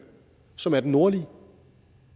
som er den nordlige